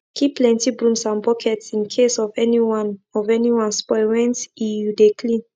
keep plenty brooms and buckets in case of anyone of anyone spoil went e you de clean